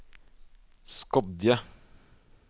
Skodje